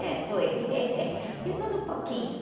É, foi. De tudo um pouquinho.